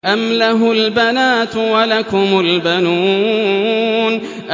أَمْ لَهُ الْبَنَاتُ وَلَكُمُ الْبَنُونَ